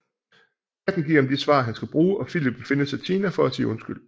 Katten giver ham de svar han skal bruge og Filip vil finde Satina for at sige undskyld